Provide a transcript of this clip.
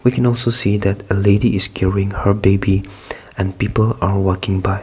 i can also see that the lady is carrying her baby and people are walking by.